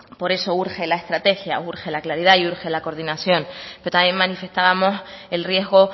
por eso urge la estrategia urge la claridad y urge la coordinación pero también manifestábamos el riesgo